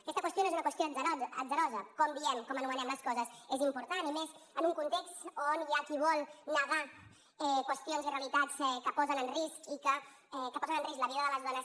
aquesta qüestió no és una qüestió atzarosa com diem com anomenem les coses és important i més en un context on hi ha qui vol negar qüestions i realitats que posen en risc la vida de les dones